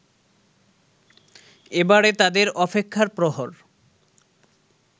এবারে তাদের অপেক্ষার প্রহর